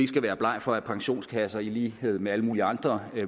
skal være bleg for at pensionskasser i lighed med alle mulige andre